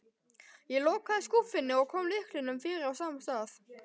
Ég lokaði skúffunni og kom lyklinum fyrir á sama stað.